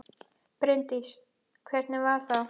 Bryndís: Hvernig þá?